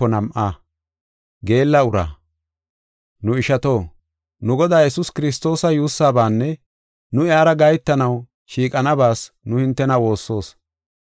Nu ishato, nu Godaa Yesuus Kiristoosa yuussabaanne nu iyara gahetanaw shiiqanabas nu hintena woossoos.